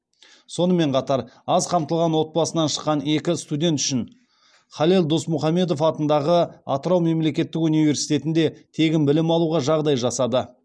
сонымен қатар аз қамтылған отбасынан шыққан екі студент үшін халел досмұхамедов атындағы атырау мемлекеттік университетінде тегін білім алуға жағдай жасады